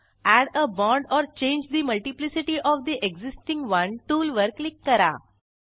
add a bond or change the multiplicity of the existing one tool वर click करा